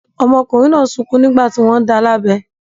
Ọmọkùnrin náà sunkún nígbà tí wọ́n ń da lábẹ.